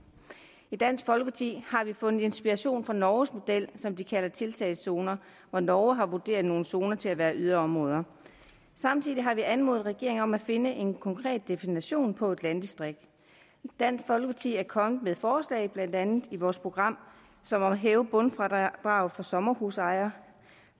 i dansk folkeparti har vi fundet inspiration i norges model som de kalder tiltagszoner hvor norge har vurderet nogle zoner til at være yderområder samtidig har vi anmodet regeringen om at finde en konkret definition på et landdistrikt dansk folkeparti er kommet med forslag blandt andet i vores program som at hæve bundfradraget for sommerhusejere